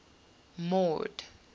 mord